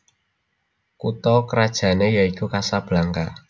Kutha krajané yaiku Casablanca